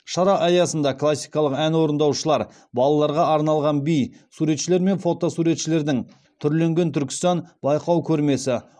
шара аясында классикалық ән орындаушылар балаларға арналған би суретшілер мен фото суретшілердің түрленген түркістан байқау көрмесі